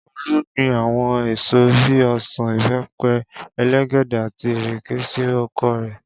Olú gbin àwo̩n èso bí i o̩sàn, ìbé̩pe̩, elégédé àti ìrè̩ké sí oko rè̩